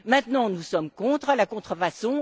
Maintenant, nous sommes contre la contrefaçon.